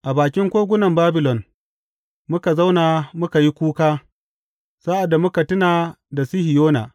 A bakin kogunan Babilon muka zauna muka yi kuka sa’ad da muka tuna da Sihiyona.